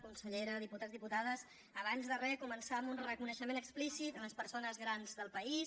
consellera diputats diputades abans de re començar amb un reconeixement explícit a les persones grans del país